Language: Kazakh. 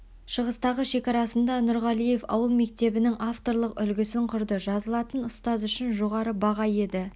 шығыстағы шекарасында нұрғалиев ауыл мектебінің авторлық үлгісін құрды жазылатын ұстаз үшін жоғары баға еді